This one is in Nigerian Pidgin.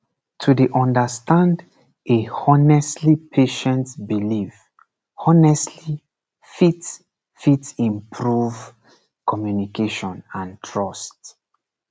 to dey understand a honestly patient belief honestly fit fit improve communication and trust